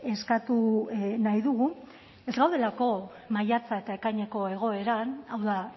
eskatu nahi dugu ez gaudelako maiatza eta ekaineko egoeran hau da